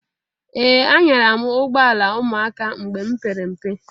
Ee! Anyara m ụgbụọla ụmụaka mgbe m pere mpe.